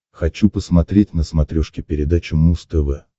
хочу посмотреть на смотрешке передачу муз тв